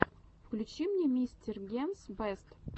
включи мне мистер генс бэст